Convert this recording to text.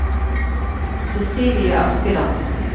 Cecilie Askeland